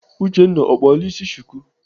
Uchenna ọ kpala ịsị chuku?